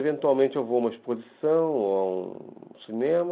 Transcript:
Eventualmente eu vou a uma exposição ou a um cinema,